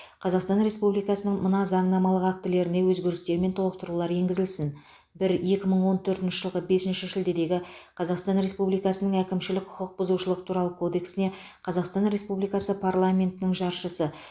қазақстан республикасының мына заңнамалық актілеріне өзгерістер мен толықтырулар енгізілсін бір екі мың он төртінші жылғы бесінші шілдедегі қазақстан республикасының әкімшілік құқық бұзушылық туралы кодексіне қазақстан республикасы парламентінің жаршысы